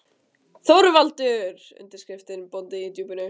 ÞORVALDUR: Undirskriftin: Bóndi í Djúpinu!